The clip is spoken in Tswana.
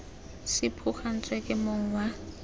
se phuagantswe ke mong wa